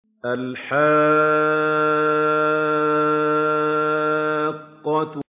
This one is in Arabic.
الْحَاقَّةُ